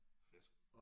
Fedt